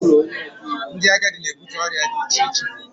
ndị agadi na-ebute ụdị ọrịa dị iche iche